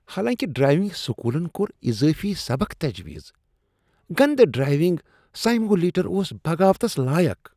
حالانکہ ڈرائیونگ سکولن کوٚر اضٲفی سبق تجویز، گندٕ ڈرائیونگ سایمولیٹر اوس بغاوتس لایق ۔